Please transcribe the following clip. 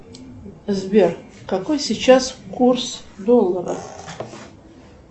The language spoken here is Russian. сбер какой сейчас курс доллара